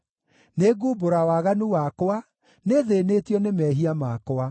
Nĩngumbũra waganu wakwa; nĩthĩĩnĩtio nĩ mehia makwa.